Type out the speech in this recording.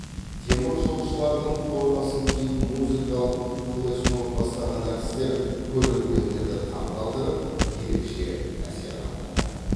теміржолшылардың формасын киіп музыкалық флешмоб бастаған әртістер көрермендерді таңғалдырып ерекше әсер қалдырды